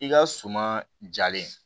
I ka suman jalen